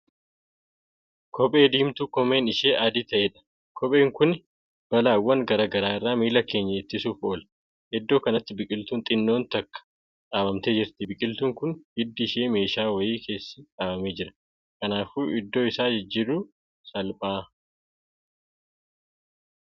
Kophee diimtuu koomeen ishee adii taa'eedha. kopheen Kuni balaawwaan garagaraa irraa miila keenya ittisuuf oola. iddoo kanatti biqiltuun xinnoon tokko dhaabamtee jirti. biqiltuun Kuni hiddi Isaa meeshaa wayii keessa dhaabamee Jira kanaafuu iddoo Isaa jijjiirun salphaa.